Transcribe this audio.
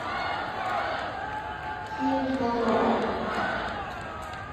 фильм с бодровым